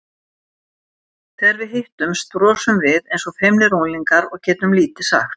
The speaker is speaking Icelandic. Þegar við hittumst brosum við eins og feimnir unglingar og getum lítið sagt.